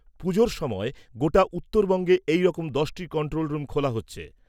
পুজোর সময় গোটা উত্তরবঙ্গে এই রকম দশটি কন্ট্রোল রুম খোলা হচ্ছে।